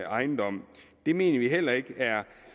ejendom det mener vi heller ikke er